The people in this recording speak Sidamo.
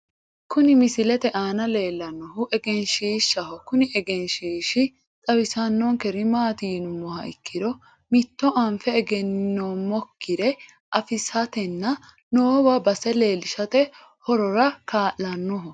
kuni misilete aana leellannohu egenshiishshaho kuni egenshiishshi xawisannonkeri maati yinummoha ikkiro mitto anfe egenninoommokkire afisatenna noowa base leellishate horora kaa'lannoho.